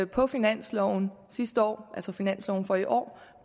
på finansloven sidste år altså finansloven for i år